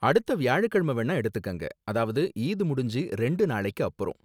அடுத்த வியாழக்கிழம வேணா எடுத்துக்கங்க, அதாவது ஈத் முடிஞ்சு ரெண்டு நாளைக்கு அப்பறம்.